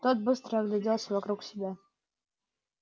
тот быстро огляделся вокруг себя